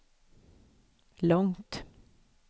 långt